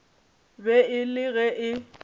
be e le ge e